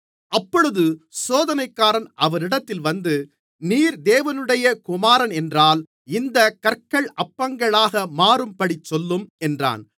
அப்பொழுது சோதனைக்காரன் அவரிடத்தில் வந்து நீர் தேவனுடைய குமாரனென்றால் இந்தக் கற்கள் அப்பங்களாக மாறும்படிச் சொல்லும் என்றான்